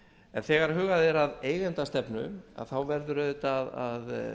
en þegar hugað er að eigendastefnu verður auðvitað að